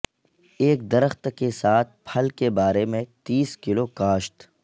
ایک درخت کے ساتھ پھل کے بارے میں تیس کلو کاشت